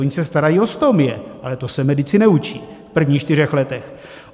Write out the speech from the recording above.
Ony se starají o stomie, ale to se medici neučí v prvních čtyřech letech.